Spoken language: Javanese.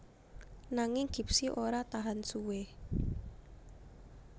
Nanging Gipsy ora tahan suwé